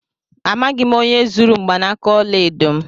Amaghị m onye zuru mgbanaka ọla edo m.